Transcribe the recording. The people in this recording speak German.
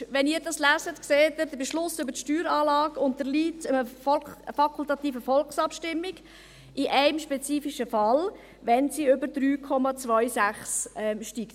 Wenn Sie es lesen, sehen Sie, dass der Beschluss über die Steueranlage einer fakultativen Volksabstimmung unterliegt, in einem spezifischen Fall: wenn sie über 3,26 steigt.